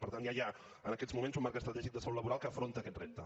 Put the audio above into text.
per tant ja hi ha en aquest moments un marc estratègic de salut laboral que afronta aquest repte